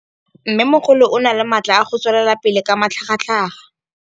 Mmêmogolo o na le matla a go tswelela pele ka matlhagatlhaga.